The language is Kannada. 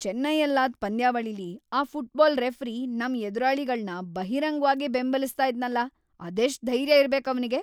ಚೆನ್ನೈಯಲ್ಲಾದ್ ಪಂದ್ಯಾವಳಿಲಿ ಆ ಫುಟ್ಬಾಲ್ ರೆಫರಿ ನಮ್ ಎದುರಾಳಿಗಳ್ನ ಬಹಿರಂಗ್ವಾಗೇ ಬೆಂಬಲಿಸ್ತಾ ಇದ್ನಲ್ಲ! ಅದೆಷ್ಟ್‌ ಧೈರ್ಯ ಇರ್ಬೇಕ್‌ ಅವ್ನಿಗೆ!